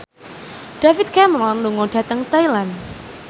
David Cameron lunga dhateng Thailand